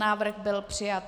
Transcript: Návrh byl přijat.